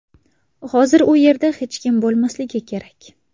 Hozir u yerda hech kim bo‘lmasligi kerak.